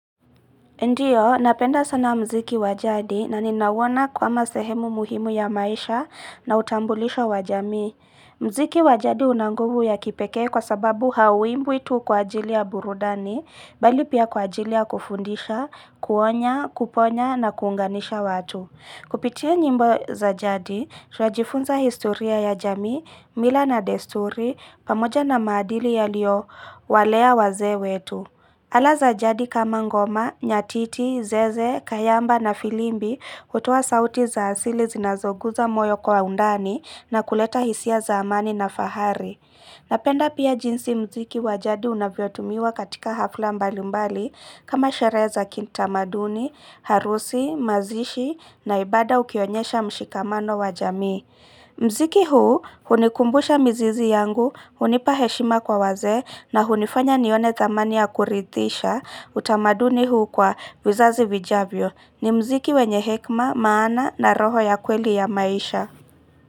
Ndiyo, napenda sana mziki wa jadi na ninauona kama sehemu muhimu ya maisha na utambulisho wajamii mziki wa jadi una nguvu ya kipekee kwa sababu hauimbwi tu kwa ajili ya burudani, bali pia kwa ajili ya kufundisha, kuonya, kuponya na kuunganisha watu. Kupitia nyimbo za jadi, tunajifunza historia ya jamii, mila na desturi, pamoja na maadili yaliyowalea wazee wetu. Ala za jadi kama ngoma, nyatiti, zeze, kayamba na filimbi kutoa sauti za asili zinazoguza moyo kwa undani na kuleta hisia za amani na fahari. Napenda pia jinsi mziki wa jadi unavyotumiwa katika hafla mbalimbali kama sherehe za kitamaduni, harusi, mazishi na ibada ukionyesha mshikamano wa jamii. Mziki huu hunikumbusha mizizi yangu hunipa heshima kwa wazee na hunifanya nione thamani ya kuridhisha utamaduni huu kwa vizazi vijavyo ni mziki wenye hekima maana na roho ya kweli ya maisha.